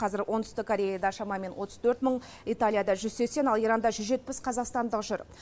қазір оңтүстік кореяда шамамен отыз төрт мың италияда жүз сексен ал иранда жүз жетпіс қазақстандық жүр